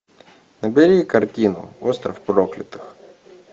набери картину остров проклятых